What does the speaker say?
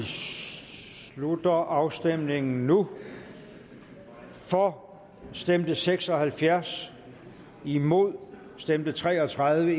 slutter afstemningen nu for stemte seks og halvfjerds imod stemte tre og tredive